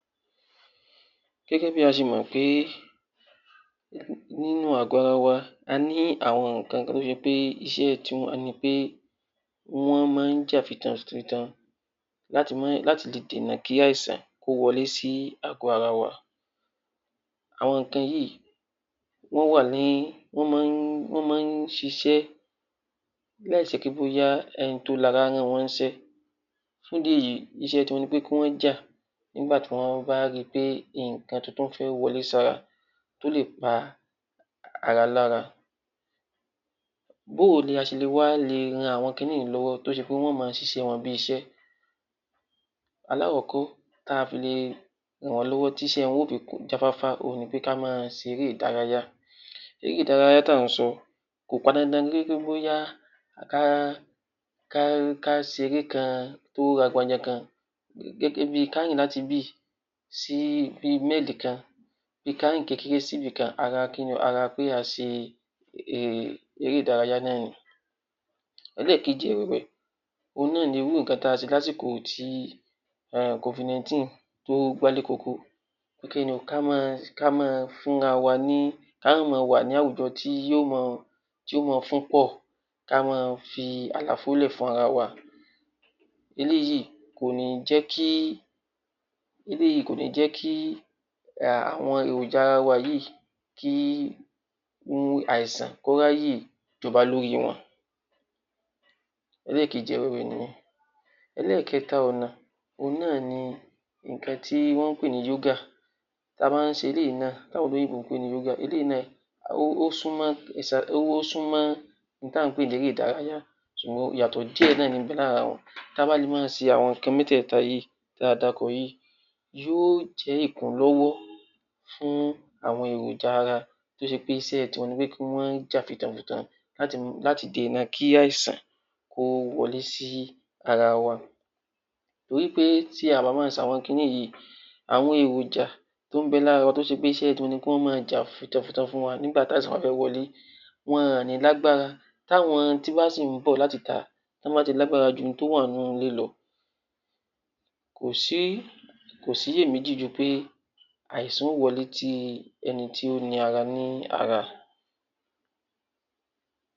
Gẹ́gẹ́ bí a ṣe mọ̀ pé nínú àgọ̀ ara wa a ní àwọn nǹkan tó ṣe pé iṣẹ́ tiwọn ni pé, wọ́n máa ń jà fitafita láti lè dènà kí àìsàn kó má wọlé sí àgò ara wa. Àwọn nǹkan wọ̀nyí, wọ́n máa ń ṣiṣẹ́ láì ṣe pé bóyá ẹni tó ni ara rán wọn ní iṣẹ́. Fún ìdí èyí, ìṣẹ́ tiwọn ni pé kí wọ́n jà nígbà tí wọ́n bá ri pé nǹkan tuntun fẹ́ wọlé sí ara tó lè pa ara lára. Báwo ni a ṣe lè wá ran àwọn kiní yìí lọ́wọ́ tó ṣe pá wọn ó máa ṣiṣẹ́ wọn bí iṣẹ́? Alákọ̀kọ́ tí a fi lè ràn wọ́n lọ́wọ́ tí iṣẹ́ wọn ó fi lè jáfáfá òun ni pé kí á máa ṣe eré ìdárayá. Eré ìdárayá tí à ń sọ, kò pọn dandan pé bóyá ká ṣe eré kan tó kan. Gẹ́gẹ́ bí ká rìn láti ibi yìí sí bí i máìlì kan, bí ká rin kékeré sí ibi kan ara pé a ṣe eré ìdárayá náà ni. ẹlẹ́ẹ̀kejì ẹ̀wẹ̀, òun náà ni ohun tí a ṣe lásìkò covid-19 tó gba lé koko. Ká má, ká máa, ká máa fún ra waa ní...kí á má máa wà ní àwùjọ tó máa fún pọ̀. Kí a máa fi àlàfo sílẹ̀ fún ara wa. Eléyìí kò ní jẹ́ kí, àọn èròjà ara wa yìí kí àìsàn kó ráyè jọba lórí wọn ẹlẹ́ẹ̀kejì ẹ̀wẹ̀ nìyẹn. ẹlẹ́ẹ̀kẹta ọ̀nà, òun náà ni nǹkan tí wọ́n ń pè ní yógà. A máa ń ṣe eléyìí náà tí àwọn olóyìnbó ń pè ní yoga, eléyìí náà, ó súnmọ́ ohun tí à ń pè ní eré ìdárayá ṣùgbọ́n, ìyàtọ̀ díẹ̀ náà ní ń bẹ lára wọn. Tí a bá lè máa ṣe àwọn nǹkan mẹ́tẹ̀ẹ̀ta yìí tí a dárúkọ yìí, yó jẹ́ ìkúlọ́wọ́ fún àwọn èròjà ara tó ṣe pé tiwọn ni kí wọ́n jà fitafita láti dènà kí àìsàn kó wọlé sí ara wa. Torí pé ti a ò bá máa ṣe àwọn kiní yìí, àwọn èròjà tó ń bẹ lára wa tó ṣe pé iṣẹ́ tiwọn ni kí wọ́n máa jà fitafita fún wa nígbà tí àìsàn bá fẹ́ wọlé. Wọn ò ní lágbára tí àwọn tó bá sì ń bọ̀ láti ìta, tí wọ́n bá ti lágbára ju àwọn tó wà nínú ilé lọ, kò síyèméjì ju pé àìsàn ó wọlé ti ẹni ti ẹni tí ó ni ara ní ara